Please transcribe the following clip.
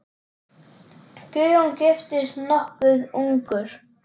Guðjón giftist nokkuð ungur.